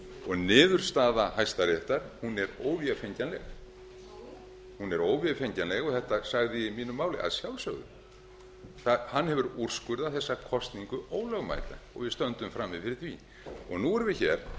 og niðurstaða hæstaréttar er óvefengjanleg nú hún er óvefengjanleg og þetta sagði ég í mínu máli að sjálfsögðu hann hefur úrskurðað þessa kosningu ólögmæta og við stöndum frammi fyrir því nú ræðum við